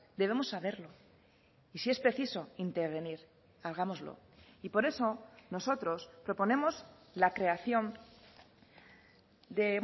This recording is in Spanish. debemos saberlo y si es preciso intervenir hagámoslo y por eso nosotros proponemos la creación de